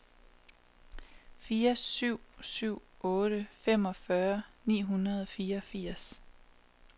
fire syv syv otte femogfyrre ni hundrede og fireogfirs